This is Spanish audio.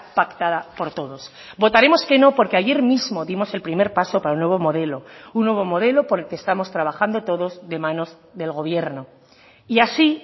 pactada por todos votaremos que no porque ayer mismo dimos el primer paso para un nuevo modelo un nuevo modelo por el que estamos trabajando todos de manos del gobierno y así